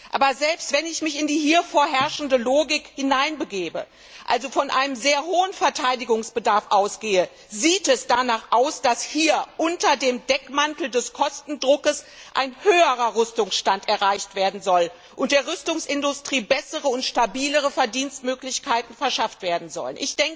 Aber selbst wenn ich mich in die hier vorherrschende Logik hineinbegebe, also von einem sehr hohen Verteidigungsbedarf ausgehe, sieht es danach aus, dass hier unter dem Deckmantel des Kostendrucks ein höherer Rüstungsstand erreicht werden soll und der Rüstungsindustrie bessere und stabilere Verdienstmöglichkeiten verschafft werden sollen.